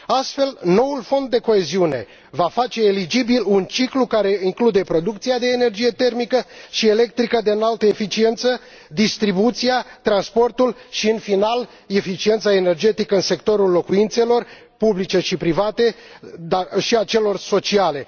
Astfel, noul Fond de coeziune va face eligibil un ciclu care include producția de energie termică și electrică de înaltă eficiență, distribuția, transportul și, în final, eficiența energetică în sectorul locuințelor publice și private, dar și al celor sociale.